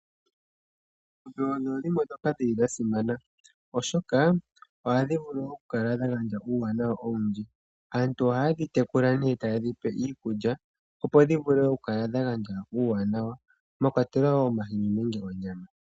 Oongombe odho dhimwe dhoka dhili dhasimana oshoka ohandhi vulu oku kala dhagandja uuwanawa owundji. Aantu oha yedhi tekula ne taye dhipe iikulya opo ndhi vule oku kala dha gandja uuwanawa mwakwatelwa omahini nenge onyama.